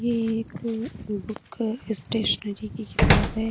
ये एक book stationery की किताब है।